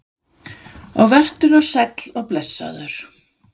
Og vertu nú sæll og blessaður.